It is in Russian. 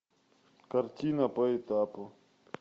картина по этапу